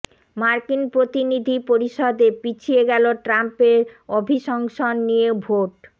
মার্কিন প্রতিনিধি পরিষদে পিছিয়ে গেল ট্রাম্পের অভিশংসন নিয়ে ভোট